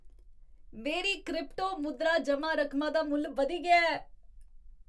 मेरी क्रिप्टो मुद्रा जमा रकमा दा मुल्ल बधी गेआ ऐ।